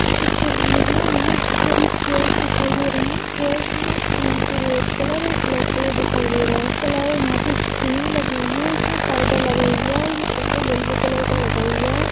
इस तस्वीर मे हमे बहुत सारी चेयर्स दिखाई दे रही है चेयर्स मे ये की रेड कलर और ब्लैक कलर दिखाई दे रहा है इसके अलावा पे स्क्रीन लगी हुई है इसमे पर्दा लगा हुआ है ये पर्दा येलो कलर का लगा हुआ है।